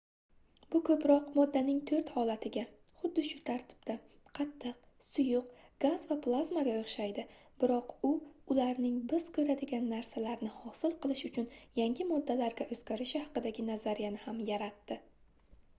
bu ko'proq moddaning to'rt holatiga xuddi shu tartibda : qattiq suyuq gaz va plazmaga o'xshaydi biroq u ularning biz ko'radigan narsalarni hosil qilish uchun yangi moddalarga o'zgarishi haqidagi nazariyani ham yaratdi